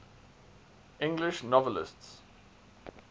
english novelists